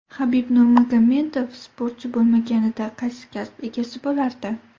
Habib Nurmagomedov sportchi bo‘lmaganida qaysi kasb egasi bo‘lardi?